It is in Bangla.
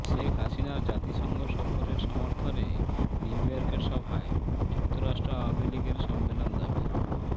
শেখ হাসিনার জাতিসংঘ সফরের সমর্থনে নিউইয়র্কের সভায় যুক্তরাষ্ট্র আওয়ামী লীগের সম্মেলন দাবি